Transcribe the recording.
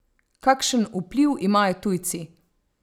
Kakšen vpliv imajo tujci?